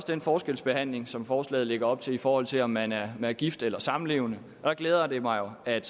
den forskelsbehandling som forslaget lægger op til i forhold til om man er er gift eller samlevende der glæder det mig at